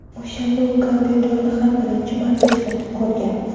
O‘shanda u kompyuterni ham birinchi marta ishlatib ko‘rgan.